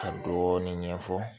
Ka dɔɔnin ɲɛfɔ